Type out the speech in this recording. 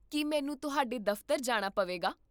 ਕੀ ਮੈਨੂੰ ਤੁਹਾਡੇ ਦਫ਼ਤਰ ਜਾਣਾ ਪਵੇਗਾ?